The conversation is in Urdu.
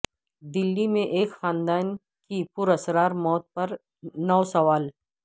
دلی میں ایک خاندان کی پراسرار موت پر نو سوال